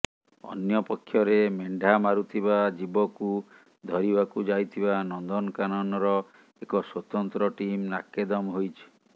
ଅନ୍ୟପକ୍ଷରେ ମେଣ୍ଢା ମାରୁଥିବା ଜୀବକୁ ଧରିବାକୁ ଯାଇଥିବା ନନ୍ଦନକାନନର ଏକ ସ୍ୱତନ୍ତ୍ର ଟିମ୍ ନାକେଦମ ହୋଇଛି